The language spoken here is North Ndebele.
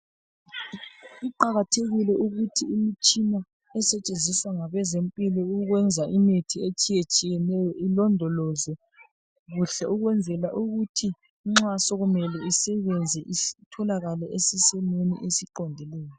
Kuqakathekile ukuthi imitshina esetshenziswa ngabezempilo ukwenza imithi etshiyetshiyeneyo ilondolozwe kuhle ukwenzela ukuthi nxa sokumele isebenze itholakale isesimeni esiqondileyo.